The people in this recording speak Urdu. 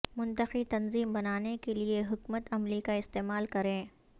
منطقی تنظیم بنانے کے لئے حکمت عملی کا استعمال کریں